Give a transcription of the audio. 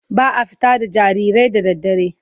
Ba a fita da jarirai da daddare.